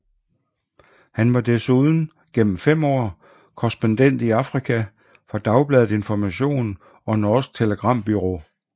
Han var desuden gennem fem år korrespondent i Afrika for Dagbladet Information og Norsk Telegrambyrå